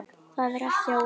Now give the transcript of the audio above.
Það er ekki óþekkt.